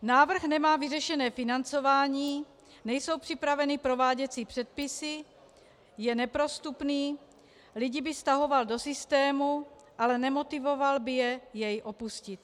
Návrh nemá vyřešené financování, nejsou připraveny prováděcí předpisy, je neprostupný, lidi by stahoval do systému, ale nemotivoval by je jej opustit.